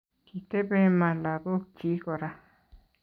Kitebe MA lagokchi kora